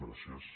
gràcies